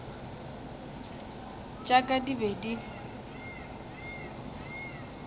tša ka di be di